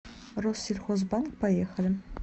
россельхозбанк поехали